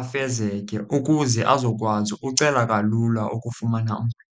afezeke ukuze azokwazi ukucela kalula ukufumana uncedo.